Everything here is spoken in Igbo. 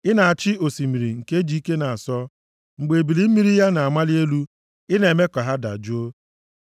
Ị na-achị osimiri nke ji ike na-asọ; mgbe ebili mmiri ya na-amali elu; i na-eme ka ha dajụọ.